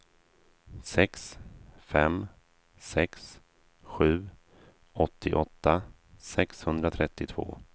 sex fem sex sju åttioåtta sexhundratrettiotvå